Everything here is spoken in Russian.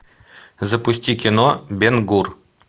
запусти кино бен гур